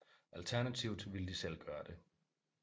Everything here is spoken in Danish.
Alternativt ville de selv gøre det